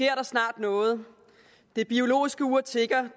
der snart noget det biologiske ur tikker det